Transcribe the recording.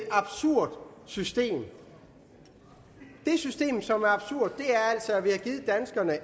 absurd system det system som er absurd er altså at vi har givet danskerne